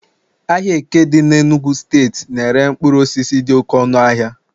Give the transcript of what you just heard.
ahịa eke dị n'Enugwu steeti na-ere mkpụrụ osisi dị oke ọnụahịa